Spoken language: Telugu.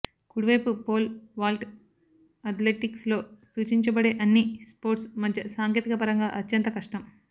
కుడివైపు పోల్ వాల్ట్ అథ్లెటిక్స్ లో సూచించబడే అన్ని స్పోర్ట్స్ మధ్య సాంకేతిక పరంగా అత్యంత కష్టం